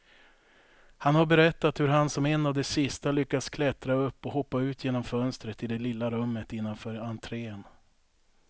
Han har berättat hur han som en av de sista lyckas klättra upp och hoppa ut genom fönstret i det lilla rummet innanför entrén.